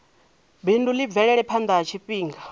bindu ḽi bvele phanḓa tshifhinga